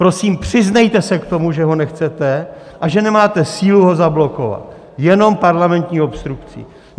Prosím, přiznejte se k tomu, že ho nechcete a že nemáte sílu ho zablokovat, jenom parlamentní obstrukcí.